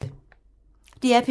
DR P3